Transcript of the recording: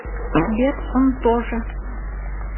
сбер он тоже